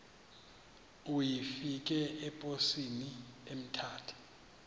uyifake eposini emthatha